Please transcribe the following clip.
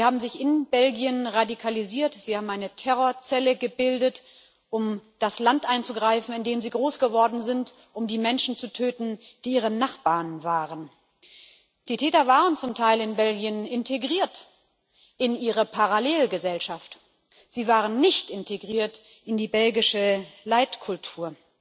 Sie haben sich in Belgien radikalisiert, sie haben eine Terrorzelle gebildet, um das Land anzugreifen, in dem sie groß geworden sind, um die Menschen zu töten, die ihre Nachbarn waren. Die Täter waren zum Teil in Belgien integriert in ihre Parallelgesellschaft. Sie waren nicht integriert in die belgische Leitkultur.